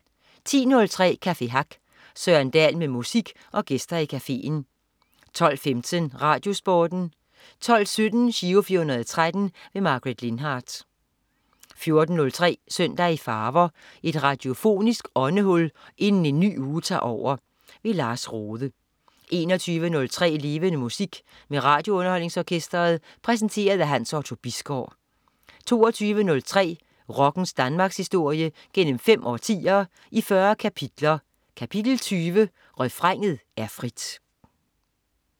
10.03 Café Hack. Søren Dahl med musik og gæster i cafeen 12.15 RadioSporten 12.17 Giro 413. Margaret Lindhardt 14.03 Søndag i farver. Et radiofonisk åndehul inden en ny uge tager over. Lars Rohde 21.03 Levende Musik. Med RadioUnderholdningsOrkestret. Præsenteret af Hans Otto Bisgaard 22.03 Rockens Danmarkshistorie gennem fem årtier, i 40 kapitler. Kapitel 20: Refrænet er frit